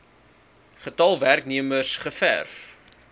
getal werknemers gewerf